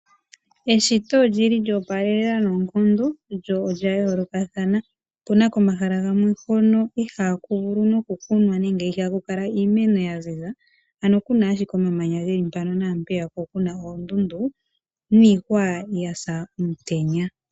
Eshito olyi li lya opalela noonkondo, lyo olya yoolokathana. Opuna komahala gamwe hono ihaaku vulu nokukunwa nenge ihaku kala iimeno ya ziza. Ano kuna ashike omamanya geli mpano na mpeya ko okuna oondundu, niihwa ya sa omutenya.